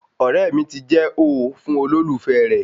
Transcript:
ọ̀rẹ́ mi ti jẹ́ ooo fún olólùfẹ́ rẹ